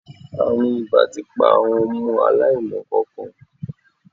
Àrùn ìbà ti pa àwọn ọmọ aláìmọ nǹkankan.